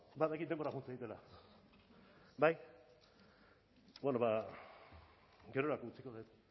badakit denbora joan zaidatela bai beno ba gerorako utziko dut